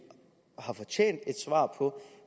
har fortjent et svar på